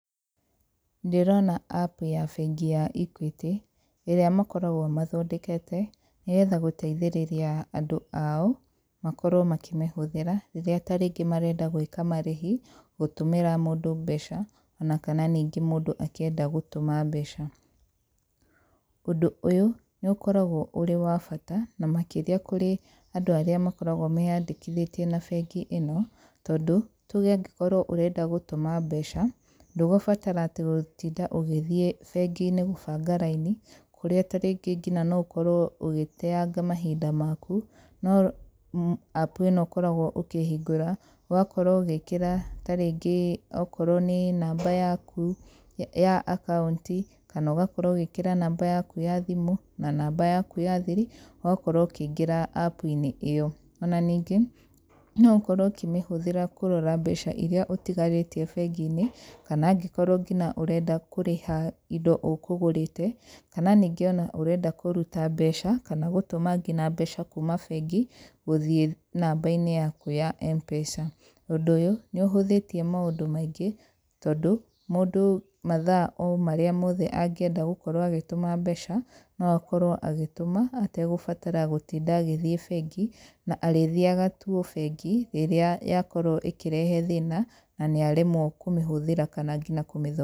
Ndĩrona app ya bengi ya Equity ĩrĩa makoragwo mathondekete nĩgetha gũteithĩrĩria andũ ao makorwo makĩmĩhũthĩra rĩrĩa tarĩngĩ marenda gũĩka marĩhi, gũtũmĩra mũndũ mbeca ona kana ningĩ mũndũ akĩenda gũtũma mbeca. Ũndũ ũyũ nĩ ũkoragwo ũrĩ wa bata na makĩria kũrĩ andũ arĩa makoragwo meyandĩkithĩtie na bengi ĩno tondũ tuge angĩkorwo ũrenda gũtũma mbeca ndũgũbatara atĩ gũtinda ũgĩthĩe bengi-inĩ gũbanga raini kũrĩa tarĩngĩ ngina no ũkorwo ũgĩteanga mahinda maku no app ĩno ũkoragwo ũkĩhingũra ũgakorwo ũgĩkĩra tarĩngĩ okorwo nĩ namba yaku ya account kana ũgakorwo ũgĩkĩra namba yaku ya thimũ na namba yaku ya thiri ũgakorwo ũkĩingĩra app inĩ ĩyo, ona ningĩ no ũkorwo ũkĩmĩhũthĩra kũrora mbeca iria ũtigarĩtie bengi-inĩ kana angĩkorwo ngina ũrenda kũrĩha indo ũkũgũrĩte kana ningĩ ona ũrenda kũruta mbeca kana ngina gũtũma mbeca kuma bengi gũthĩe namba-inĩ yaku ya M-Pesa , ũndũ ũyũ nĩ ũhũthĩtĩe maũndũ maingĩ tondũ mũndũ mathaa o marĩa mothe angĩenda gũkorwo agĩtũma mbeca no akorwo agĩtũma ategũbatara gũtinda agĩthĩe bengi na arĩthiaga tu o bengi rĩrĩa yakorwo ĩkĩrehe thĩna na nĩaremwo kũmĩhũthira kana ngina kũmĩthondeka.